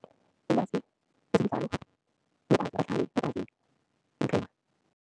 Ilwazi